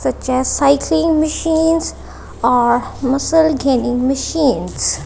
such as cycling machines are muscle gaining machines.